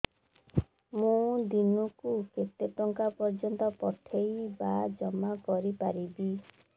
ମୁ ଦିନକୁ କେତେ ଟଙ୍କା ପର୍ଯ୍ୟନ୍ତ ପଠେଇ ବା ଜମା କରି ପାରିବି